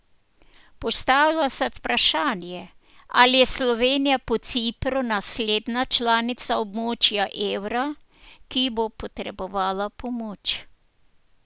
Postavlja se vprašanje, ali je Slovenija po Cipru naslednja članica območja evra, ki bo potrebovala pomoč.